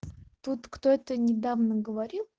тут кто-то недавно говорил